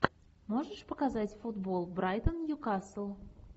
можешь показать футбол брайтон ньюкасл